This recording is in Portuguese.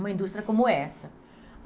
uma indústria como essa.